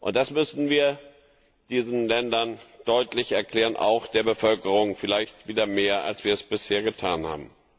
Das müssten wir diesen Ländern deutlich erklären, auch der Bevölkerung vielleicht wieder mehr, als wir es bisher getan haben.